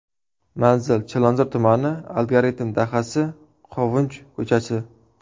Manzil: Chilonzor tumani, Algoritm dahasi, Qovunchi ko‘chasi.